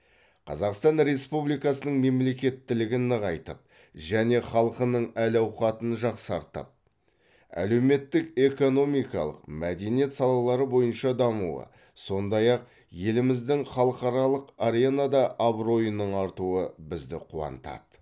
қазақстан республикасының мемлекеттілігін нығайтып және халқының әл ауқатын жақсартып әлеуметтік экономикалық мәдениет салалары бойынша дамуы сондай ақ еліңіздің халықаралық аренада абыройының артуы бізді қуантады